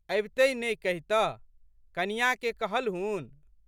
अबितहि ने कहितह? कनियाँके कहलहुन?